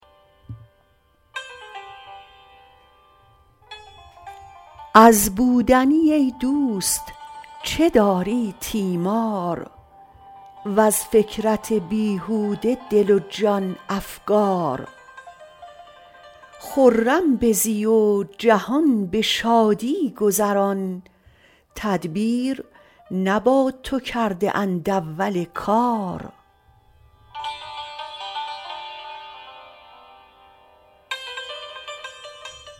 از بودنی ای دوست چه داری تیمار وز فکرت بیهوده دل و جان افکار خرم بزی و جهان به شادی گذران تدبیر نه با تو کرده اند اول کار